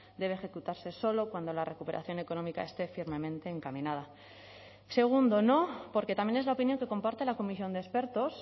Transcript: debe ejecutarse solo cuando la recuperación económica esté firmemente encaminada segundo no porque también es la opinión que comparte la comisión de expertos